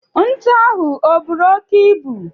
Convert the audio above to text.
Ntu ahụ o buru oke ibu?